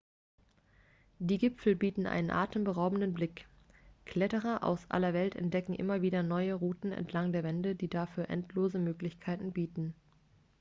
die gipfel bieten einen atemberaubenden blick kletterer aus aller welt entdecken immer wieder neue routen entlang der wände die dafür endlose möglichkeiten bieten